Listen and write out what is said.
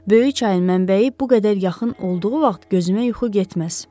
Böyük çayın mənbəyi bu qədər yaxın olduğu vaxt gözümə yuxu getməz.